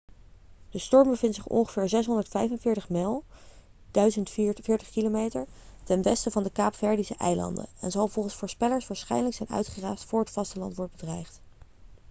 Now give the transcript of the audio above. de storm bevindt zich ongeveer 645 mijl 1040 km ten westen van de kaapverdische eilanden en zal volgens voorspellers waarschijnlijk zijn uitgeraasd voor het vasteland wordt bedreigd